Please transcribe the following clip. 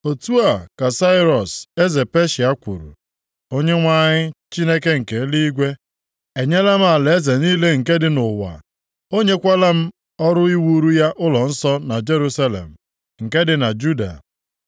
“Otu a ka Sairọs, eze Peshịa kwuru, “ ‘Onyenwe anyị Chineke nke eluigwe, e nyela m alaeze + 1:2 Alaeze Sairọs gbatịrị site nʼIndia jeruo Ijipt, ma sitekwa nʼebe dị warawara nʼosimiri Uhie ruo Kush. niile nke dị nʼụwa, o nyekwala m ọrụ iwuru ya ụlọnsọ na Jerusalem, nke dị na Juda.